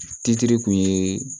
Titiri kun ye